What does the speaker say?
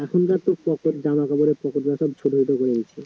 যে জামাকাপড় বের হচ্ছে ছোট ছোট করে দিচ্ছে